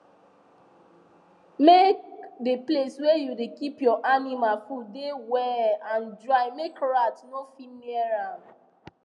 make the place wey you da keep your animal food da well and dry make rat no fit near am